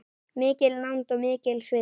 Mikil nánd og mikill sviti.